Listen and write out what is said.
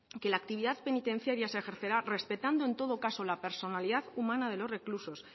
que la actividad penitenciaria se ejercerá respetando en todo caso la personalidad humana de los reclusos